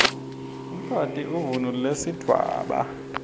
umfati uvunulb sidvwaba